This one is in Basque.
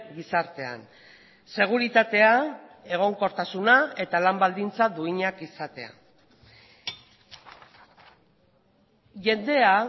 gizartean seguritatea egonkortasuna eta lan baldintza duinak izatea jendea